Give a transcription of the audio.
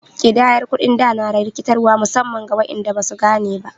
Ƙidayar kuɗin da na da rikitarwa musamman ga waɗanda ba su gane ba.